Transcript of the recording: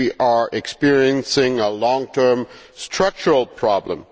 we are experiencing a long term structural problem.